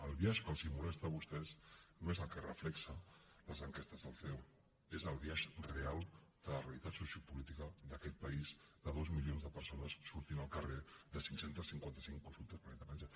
el biaix que els molesta a vostès no és el que reflecteix les enquestes del ceo és el biaix real de la realitat sociopolítica d’aquest país de dos milions de persones sortint al carrer de cinc cents i cinquanta cinc consultes per la independència